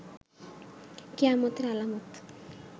কিয়ামতের আলামত